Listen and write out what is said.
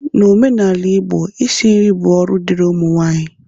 N'omenala Igbo, Isi nri bụ ọrụ dịrị ụmụ nwaanyị.